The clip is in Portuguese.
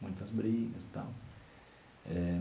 Muitas brigas e tal eh.